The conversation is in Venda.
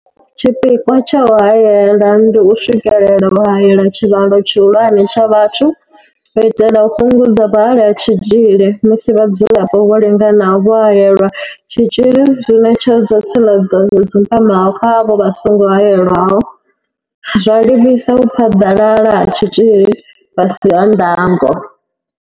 Tshipikwa tsha u haela ndi u swikelela u haela tshivhalo tshihulwane tsha vhathu u itela u fhungudza vhuhali ha tshitzhili musi vhadzulapo vho linganaho vho haelelwa tshitzhili zwi ṋetshedza tsireledzo yo dzumbamaho kha avho vha songo haelwaho, zwa livhisa u phaḓalala ha tshitzhili fhasi ha ndango.